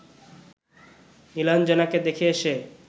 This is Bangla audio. নীলাঞ্জনাকে দেখে এসে